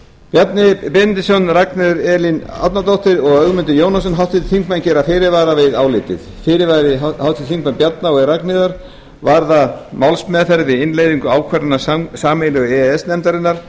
bjarni benediktsson ragnheiður e árnadóttir og ögmundur jónasson háttvirtir þingmenn gera fyrirvara við álitið fyrirvari háttvirts þingmanns bjarna og ragnheiðar varðar málsmeðferð við innleiðingu ákvarðana sameiginlegu e e s nefndarinnar